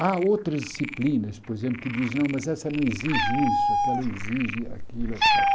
Há outras disciplinas, por exemplo, que dizem, não, mas essa não exige isso, aquela exige aquilo, et cétera.